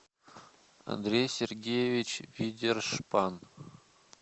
андрей сергеевич видершпан